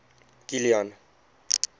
kilian